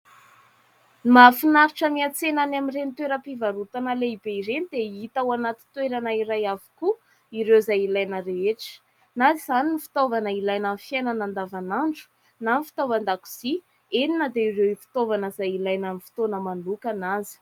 Ny mahafinaritra miantsena any amin'ireny toeram-pivarotana lehibe ireny dia hita ao anaty toerana iray avokoa ireo izay ilaina rehetra. Na izany fitaovana ilaina amin'ny fiainana andavanandro na ny fitaovan-dakozia eny na dia ireo fitaovana izay ilaina amin'ny fotoana manokana aza.